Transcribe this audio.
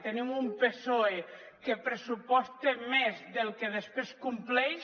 tenim un psoe que pressuposta més del que després compleix